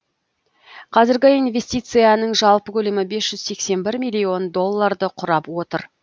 қазіргі инвестицияның жалпы көлемі бес жүз сексен бір миллион долларды құрап отыр